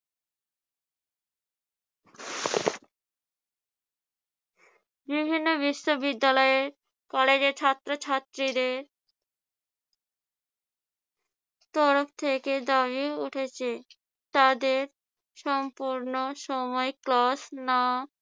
বিভিন্ন বিশ্ববিদ্যালয়ের, কলেজের ছাত্রছাত্রীদের তরফ থেকে দাবি উঠেছে তাদের সম্পূর্ণ সময় class না